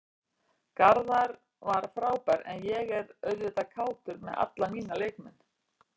Garðar var frábær en ég er auðvitað kátur með alla mína leikmenn.